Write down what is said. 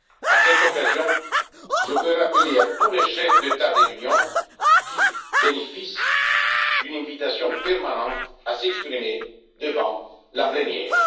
À cette occasion je veux rappeler à tous les chefs d'État de l'Union qu'ils bénéficient d'une invitation permanente à s'exprimer devant la plénière.